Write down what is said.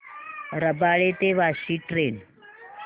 रबाळे ते वाशी ट्रेन